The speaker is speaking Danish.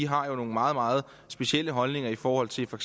har jo nogle meget meget specielle holdninger i forhold til for